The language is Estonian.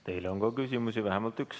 Teile on ka küsimusi, vähemalt üks.